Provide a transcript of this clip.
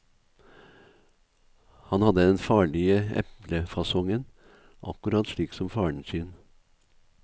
Han hadde den farlige eplefasongen, akkurat slik som faren sin.